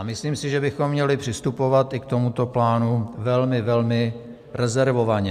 A myslím si, že bychom měli přistupovat i k tomuto plánu velmi, velmi rezervovaně.